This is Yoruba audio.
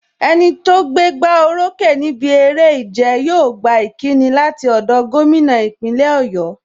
Enito gbé gbá o rókè níbi eré ìjẹ, yóò gba ìkíni láti ọ̀dọ̀ gómìnà ìpínlẹ̀ Oyo.